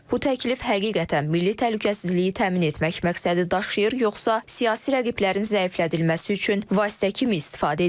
Bu təklif həqiqətən milli təhlükəsizliyi təmin etmək məqsədi daşıyır, yoxsa siyasi rəqiblərin zəiflədilməsi üçün vasitə kimi istifadə ediləcək?